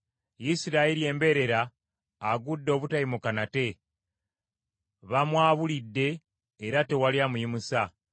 “Isirayiri embeerera agudde obutayimuka nate. Bamwabulidde era tewali amuyimusa.”